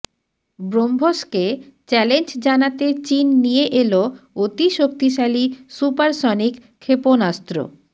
ব্রহ্মসকে challenge জানাতে চিন নিয়ে এল অতিশক্তিশালী সুপারসনিক ক্ষেপণাস্ত্র